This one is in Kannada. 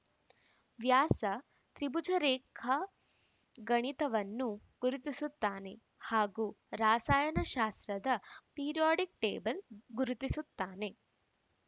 ವ್ಯಾಸ ತ್ರಿಭುಜ ರೇಖಾ ಗಣಿತವನ್ನ ಗುರುತಿಸುತ್ತಾನೆ ಹಾಗೂ ರಾಸಾಯನ ಶಾಸ್ತ್ರದ ಪಿರಿಯಾಡಿಕ್‌ ಟೇಬಲ್‌ ಗುರುತಿಸುತ್ತಾನೆ